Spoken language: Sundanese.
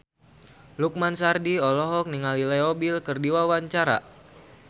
Lukman Sardi olohok ningali Leo Bill keur diwawancara